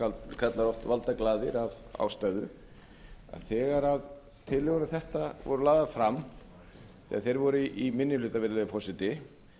kallaðir eru oft valdaglaðir af ástæðu að þegar tillögur um þetta voru lagðar fram þegar þeir voru í minni hluta virðulegi forseti